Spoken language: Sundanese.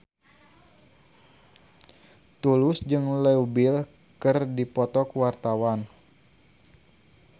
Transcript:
Tulus jeung Leo Bill keur dipoto ku wartawan